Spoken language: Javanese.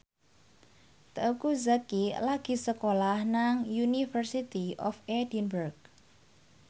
Teuku Zacky lagi sekolah nang University of Edinburgh